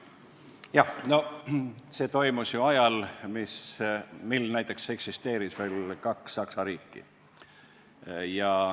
Jah, no see toimus ju ajal, kui eksisteeris veel kaks Saksa riiki.